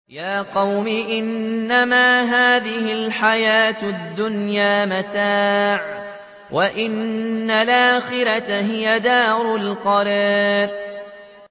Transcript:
يَا قَوْمِ إِنَّمَا هَٰذِهِ الْحَيَاةُ الدُّنْيَا مَتَاعٌ وَإِنَّ الْآخِرَةَ هِيَ دَارُ الْقَرَارِ